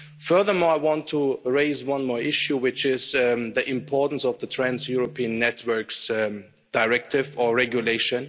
Furthermore, I want to raise one more issue, which is the importance of the Trans European Networks Directive or Regulation.